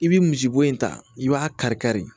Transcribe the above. I bi misi bo in ta i b'a kari kari